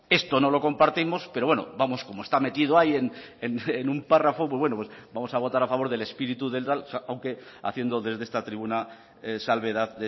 esto no lo compartimos pero bueno vamos como está metido ahí en un párrafo pues bueno pues vamos a votar a favor del espíritu del aunque haciendo desde esta tribuna salvedad